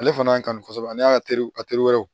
Ale fana y'a kanu kosɛbɛ n'a y'a terew a teri wɛrɛ ye o